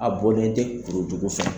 A bɔlen tɛ kuru jugu fɛ.